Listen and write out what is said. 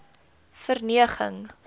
verneging